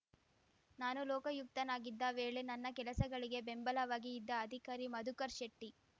ನಾನು ಲೋಕಾಯುಕ್ತನಾಗಿದ್ದ ವೇಳೆ ನನ್ನ ಕೆಲಸಗಳಿಗೆ ಬೆಂಬಲವಾಗಿ ಇದ್ದ ಅಧಿಕಾರಿ ಮಧುಕರ್ ಶೆಟ್ಟಿ